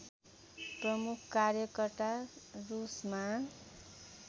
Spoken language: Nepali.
प्रमुख कार्यकर्ता रुसमा